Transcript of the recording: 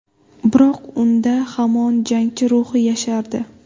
Biroq unda hamon jangchi ruhi yashardi.